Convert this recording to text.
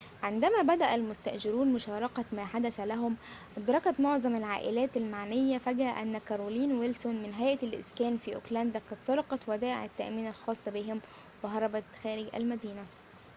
عندما بدأ المستأجرون مشاركة ما حدث لهم أدركت معظم العائلات المعنية فجأة أن كارولين ويلسون من هيئة الإسكان في أوكلاند قد سرقت ودائع التأمين الخاصة بهم وهربت خارج المدينة